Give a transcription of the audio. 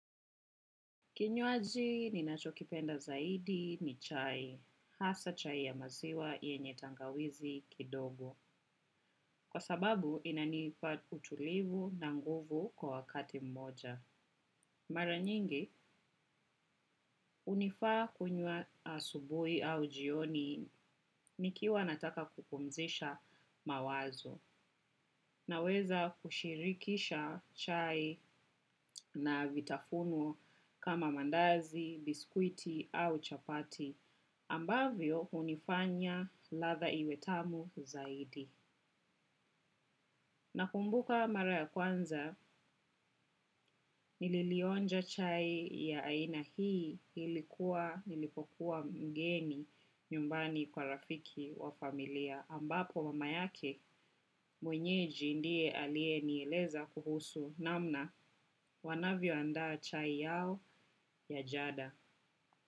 Kinywaji ninachokipenda zaidi ni chai, hasa chai ya maziwa yenye tangawizi kidogo. Kwa sababu, inanipa utulivu na nguvu kwa wakati mmoja. Mara nyingi, hunifaa kunywa asubuhi au jioni nikiwa nataka kupumzisha mawazo. Naweza kushirikisha chai na vitafuno kama mandazi, biskuiti au chapati. Ambavyo hunifanya ladha iwe tamu zaidi. Nakumbuka mara ya kwanza nililionja chai ya aina hii ilikuwa nilipokuwa mgeni nyumbani kwa rafiki wa familia. Ambapo mama yake mwenyeji ndiye aliyenieleza kuhusu namna wanavyoandaa chai yao ya jada.